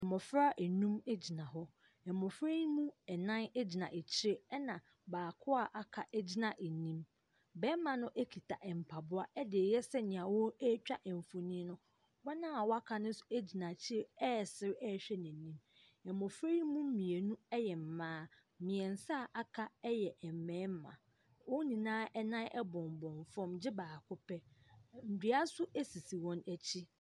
Mmɔfra nnum gyina hɔ. Mmɔfra yi mu nnan gyina akyire, ɛna baako a aka gyina anim. Barima no kita mpaboa de reyɛ sedeɛ wɔretwa mfonim no. Wɔn a wɔaka no nso gyina akyire resere hwɛ n'anim. Mmɔfra yi mu mmienu yɛ mmaa, mmeɛnsa a wɔaka yɛ mmarima. Wɔn nyinaa nan bɔnbɔn fam, gye baako pɛ. Ɛ nnua nso sisi wɔn akyi.